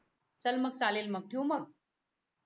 चल मग चालेल मग ठेवू मग